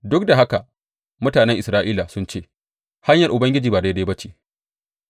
Duk da haka mutanen Isra’ila sun ce, Hanyar Ubangiji ba daidai ba ce.’